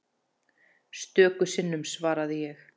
Stöku sinnum svaraði ég.